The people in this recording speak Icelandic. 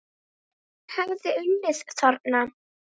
En hún hefði unnið þarna.